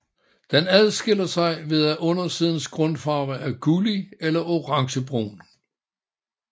Den adskiller sig ved at undersidens grundfarve er gullig eller orangebrun